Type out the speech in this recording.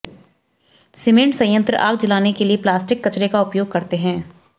cement संयंत्र आग जलाने के लिए प्लास्टिक कचरे का उपयोग करते हैं